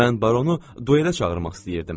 Mən baronu duelə çağırmaq istəyirdim.